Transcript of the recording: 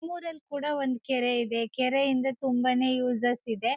ನಮ್ ಊರಲ್ ಕೂಡ ಒಂದ್ ಕೆರೆ ಇದೆ ಕೆರೆ ಇಂದ ತುಂಬಾನೇ ಉಸಸ್ ಇದೆ .